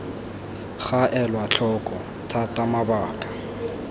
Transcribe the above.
ga elwa tlhoko thata mabaka